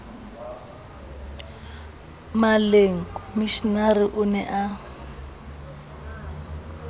maleng komishenara o ne a